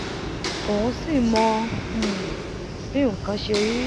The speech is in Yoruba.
òun sì mọ um bí nkan ṣe rí